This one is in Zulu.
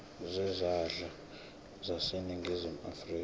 zezandla zaseningizimu afrika